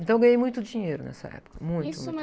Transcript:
Então eu ganhei muito dinheiro nessa época, muito...